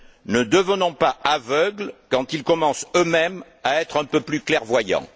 Ne devenons pas aveugles quand ils commencent, eux mêmes, à être un peu plus clairvoyants.